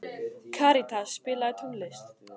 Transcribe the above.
Karítas, spilaðu tónlist.